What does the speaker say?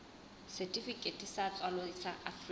setifikeiti sa tswalo sa afrika